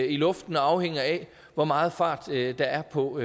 i luften og afhænger af hvor meget fart der er på